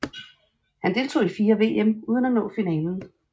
Han deltog i fire VM uden at nå finalen